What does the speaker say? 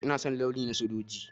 Ina son launi na sojoji.